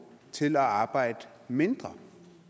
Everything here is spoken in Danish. til at arbejde mindre